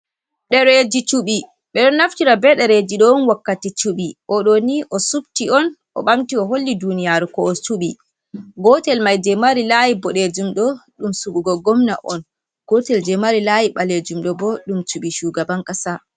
Dereji chubi. Ɓeɗo naftira be dareji ɗoni wakkati chuɓi. Oɗo ni osufti on o ɓamti o holli duniyaru ko, o suɓi. Gotel mai je mari layi boɗejum ɗo ɗum suɓugo gomna on. Gotel mai je mari layi ɓalejum ɗo bo ɗum shugaban kasa.